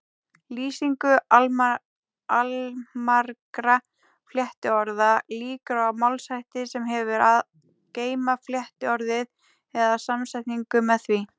Lýsingu allmargra flettiorða lýkur á málshætti sem hefur að geyma flettiorðið eða samsetningu með því.